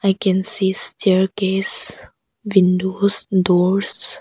I can see staircase windows doors.